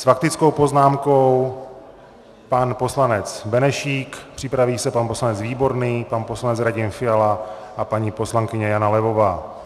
S faktickou poznámkou pan poslanec Benešík, připraví se pan poslanec Výborný, pan poslanec Radim Fiala a paní poslankyně Jana Levová.